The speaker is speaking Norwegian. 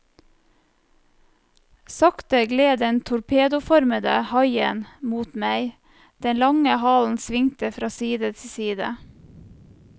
Sakte gled den torpedoformede haien mot meg, den lange halen svingte fra side til side.